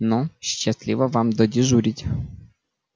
ну счастливо вам додежурить